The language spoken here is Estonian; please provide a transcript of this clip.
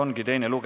Kohtumiseni homme!